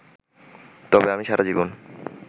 তবে আমি সারা জীবন